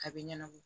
A bɛ ɲɛnabɔ